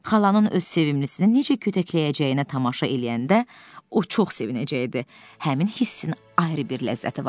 Xalanın öz sevimlisini necə kötəkləyəcəyinə tamaşa eləyəndə o çox sevinəcəkdi, həmin hissin ayrı bir ləzzəti var idi.